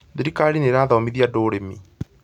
Thirikari nĩ ĩrathomithia andũ ũrĩmi